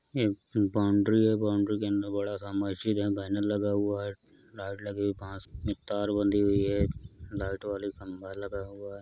ये एक बॉउंड्री है। बॉउंड्री के अन्दर बड़ा सा मस्जिद हैं। बैनर लगा हुआ है। लाइट लगी हुई हैं। बांस में तार बंधी हुई है। लाइट वाले खंबा लगा हुआ है।